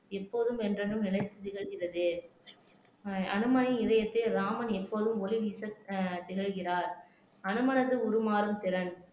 எப்போதும் என்றென்றும் நிலைத்து திகழ்கிறது ஆஹ் அனுமனின் இதயத்தை ராமன் எப்போதும் ஒளி வீச ஆஹ் திகழ்கிறார் அனுமனது உருமாறும் திறன்